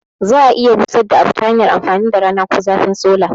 Za a iya busadda abu tahanyar amfani da rana ko zafin sola